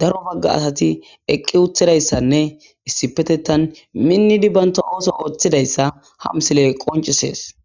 daro Baga asat eqid utidaysanne issipetetan minid banta oso oothidaysa ha misiley qoncises.